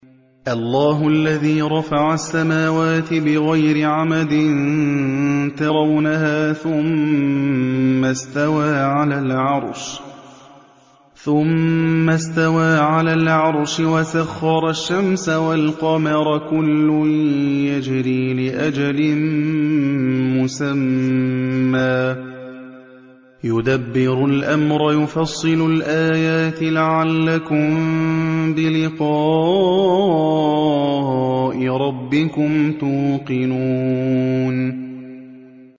اللَّهُ الَّذِي رَفَعَ السَّمَاوَاتِ بِغَيْرِ عَمَدٍ تَرَوْنَهَا ۖ ثُمَّ اسْتَوَىٰ عَلَى الْعَرْشِ ۖ وَسَخَّرَ الشَّمْسَ وَالْقَمَرَ ۖ كُلٌّ يَجْرِي لِأَجَلٍ مُّسَمًّى ۚ يُدَبِّرُ الْأَمْرَ يُفَصِّلُ الْآيَاتِ لَعَلَّكُم بِلِقَاءِ رَبِّكُمْ تُوقِنُونَ